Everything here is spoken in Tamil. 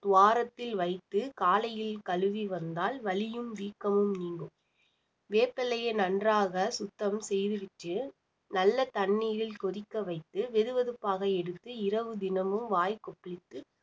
துவாரத்தில் வைத்து காலையில் கழுவி வந்தால் வலியும் வீக்கமும் நீங்கும் வேப்பில்லையை நன்றாக சுத்தம் செய்துவிட்டு நல்ல தண்ணீரில் கொதிக்க வைத்து வெதுவெதுப்பாக எடுத்து இரவு தினமும் வாய் கொப்பளித்து